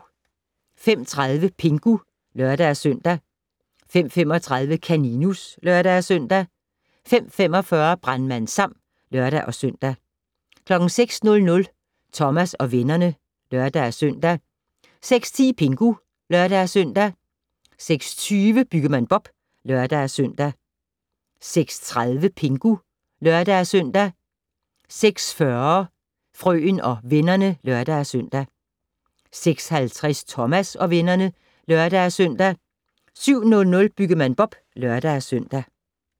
05:30: Pingu (lør-søn) 05:35: Kaninus (lør-søn) 05:45: Brandmand Sam (lør-søn) 06:00: Thomas og vennerne (lør-søn) 06:10: Pingu (lør-søn) 06:20: Byggemand Bob (lør-søn) 06:30: Pingu (lør-søn) 06:40: Frøen og vennerne (lør-søn) 06:50: Thomas og vennerne (lør-søn) 07:00: Byggemand Bob (lør-søn)